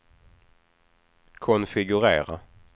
konfigurera